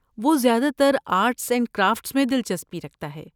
وہ زیادہ تر آرٹس اینڈ کرافٹس میں دلچسپی رکھتا ہے۔